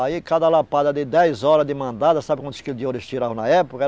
Aí cada lapada de dez horas de mandada, sabe quantos quilos de ouro eles tiravam na época? era